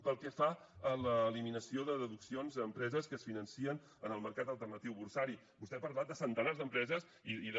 pel que fa a l’eliminació de deduccions a empreses que es financen en el mercat alternatiu borsari vostè ha parlat de centenars d’empreses i de